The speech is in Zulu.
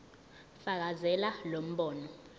fakazela lo mbono